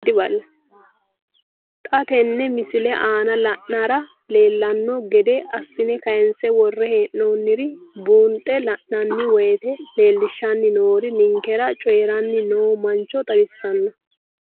Xa tenne missile aana la'nara leellanno gede assine kayiinse worre hee'noonniri buunxe la'nanni woyiite leellishshanni noori ninkera coyiiranni noo mancho xawissanno.